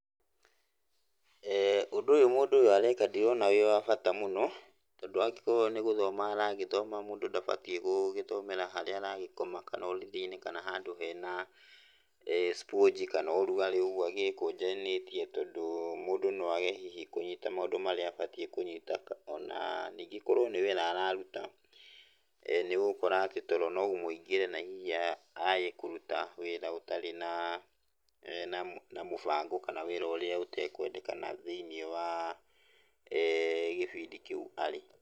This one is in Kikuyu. Ũndũ ũyũ mũndũ ũyũ areka ndirona wĩ wa bata mũno, tondũ angĩkorwo nĩ gũthoma aragĩthoma mũndũ ndagĩbatiĩ gũgĩthomera harĩa aragĩkoma, kana ũrĩrĩ-inĩ kana handũ hena sponge, kana ũrugarĩ ũguo agĩĩkũnjanĩtie tondũ mũndũ no aage hihi kũnyita maũndũ marĩa abatiĩ kũnyita. O na ningĩ korwo nĩ wĩra araruta, nĩ ũgũkora atĩ toro no ũmũingĩre na hihi aage kũruta wĩra ũtarĩ na mũbango, kana wĩra ũrĩa ũtekwendekana thĩiniĩ wa gĩbindi kĩu arĩ.